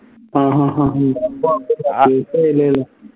ആഹ് ഹഹ